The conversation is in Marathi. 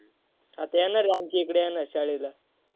आता येणार आहे आमच्या इकडे शाळेला.